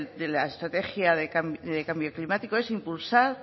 de la estrategia de cambio climático es impulsar